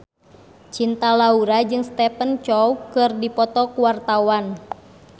Cinta Laura jeung Stephen Chow keur dipoto ku wartawan